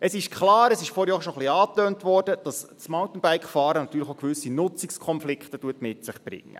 Es ist klar und wurde vorhin auch schon ein wenig angetönt, dass das Mountainbike-Fahren natürlich auch gewisse Nutzungskonflikte mit sich bringt.